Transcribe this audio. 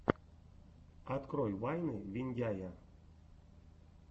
открой вайны виндяя